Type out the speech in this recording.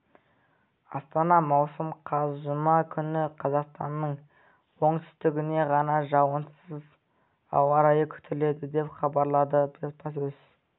астана маусым қаз жұма күні қазақстанның оңтүстігінде ғана жауын-шашынсыз ауа райы күтіледі деп хабарлады баспасөз